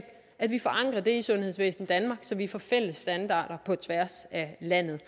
og akutberedskab i sundhedsvæsen danmark så vi får fælles standarder på tværs af landet